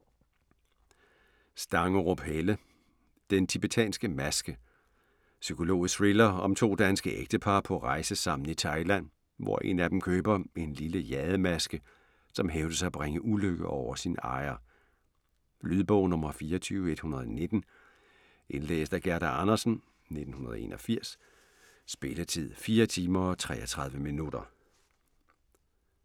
Stangerup, Helle: Den tibetanske maske Psykologisk thriller om to danske ægtepar på rejse sammen i Thailand, hvor en af dem køber en lille jademaske, som hævdes at bringe ulykke over sin ejer. Lydbog 24119 Indlæst af Gerda Andersen, 1981. Spilletid: 4 timer, 33 minutter.